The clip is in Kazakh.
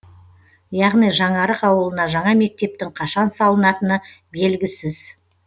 яғни жаңарық ауылына жаңа мектептің қашан салынатыны белгісіз